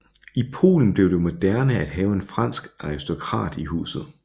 I Polen blev det moderne at have en fransk aristokrat i huset